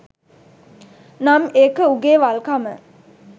නම් ඒක උගෙ වල්කම.